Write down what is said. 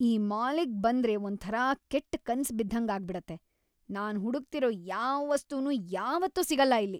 ಈ ಮಾಲಿಗ್‌ ಬಂದ್ರೆ ಒಂಥರ ಕೆಟ್ ಕನ್ಸ್ ಬಿದ್ದಂಗಾಗ್ಬಿಡತ್ತೆ, ನಾನ್ ಹುಡುಕ್ತಿರೋ ಯಾವ್‌ ವಸ್ತುನೂ ಯಾವತ್ತೂ ಸಿಗಲ್ಲ ಇಲ್ಲಿ.